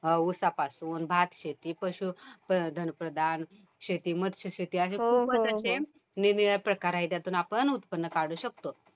उसापासून, भातशेती पशुधनप्रधान शेती, मत्स्यशेती अशे खूपच अशे निरनिराळ्या प्रकार आहे. त्यातून आपण उत्पन्न काढू शकतो.